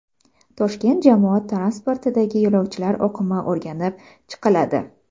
Toshkent jamoat transportidagi yo‘lovchilar oqimi o‘rganib chiqiladi.